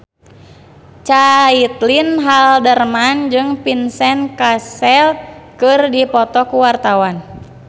Caitlin Halderman jeung Vincent Cassel keur dipoto ku wartawan